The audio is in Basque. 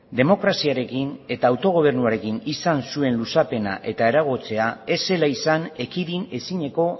demokraziarekin eta autogobernuarekin izan zuen luzapena eta eragoztea ez zela izan ekidin ezineko